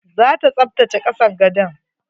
Zata tsaftace kasan gadon.